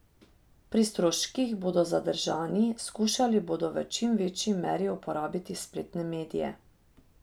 Pri stroških bodo zadržani, skušali bodo v čim večji meri uporabiti spletne medije.